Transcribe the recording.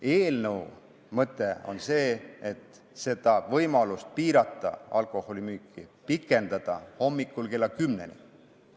Eelnõu mõte on see, et oleks võimalus piirata alkoholimüüki hommikul kella kümneni.